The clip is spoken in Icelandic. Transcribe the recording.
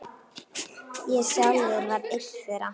Ég sjálfur var einn þeirra.